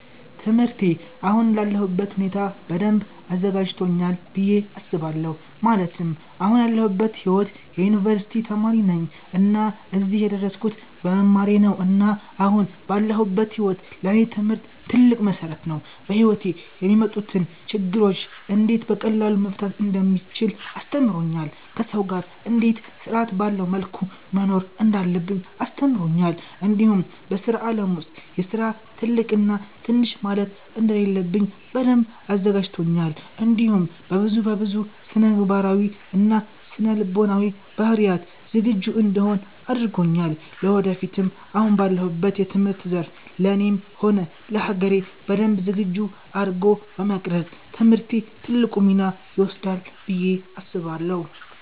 ትምህርቴ አሁን ላለሁበት ሁኔታ በደንብ አዘጋጂቶኛል ብየ አስባለሁ ማለትም አሁን ያለሁበት ሂዎት የ ዩኒቨርሲቲ ተማሪ ነኝ እና እዚህም የደረስኩት በመማሬ ነው እና አሁን ላለሁበት ሂዎት ለኔ ትምህርት ትልቅ መሰረት ነው። በሂዎቴ የሚመጡትን ችግሮች እንዴት በቀላሉ መፍታት እንደምቺል አስተምሮኛል፣ ከሰው ጋር እንዴት ስርአት ባለው መልኩ መኖር እንዳለብኝ አስተምሮኛል እንዲሁም በስራ አለም ውስጥ የስራ ትልቅ እና ትንሽ ማለት እንደሌለብኝ በደንብ አዘጋጂቶኛል እንዲሁም በብዙ በብዙ ስነምግባራዊ እና ስነ ልቦናዊ ባህሪያት ዝግጁ እንድሆን አርጎኛል ለወደፊትም አሁን ባለሁበት የትምህርት ዘርፍ ለኔም ሆነ ለሀገሬ በደንብ ዝግጁ አርጎ በመቅረፅ ትምህርቴ ትልቁን ሚና ይወስዳል ብየ አስባለሁ